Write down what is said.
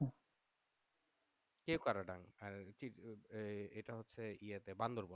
কে কারাদণ্ড এইটা হচ্ছে বান্দরবান